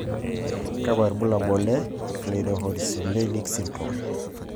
kakwa ibulabul le Cleidorhizomelic syndrome.